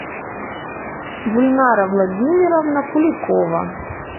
гульнара владимировна куликова